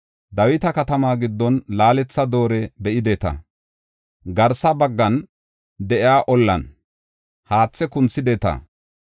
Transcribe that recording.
Dawita Katama giddon laaletha dooriya be7ideta; garsa baggan de7iya ollan haathe kunthideta.